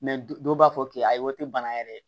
du dɔw b'a fɔ k'i ayiwa o te bana yɛrɛ